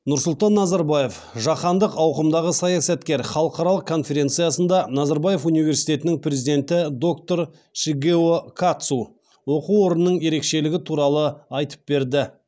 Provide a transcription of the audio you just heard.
нұрсұлтан назарбаев жаһандық ауқымдағы саясаткер халықаралық конференциясында назарбаев университетінің президенті доктор шигео катсу оқу орнының ерекшелігі туралы айтып берді